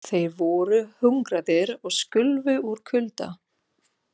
Þeir voru hungraðir og skulfu úr kulda.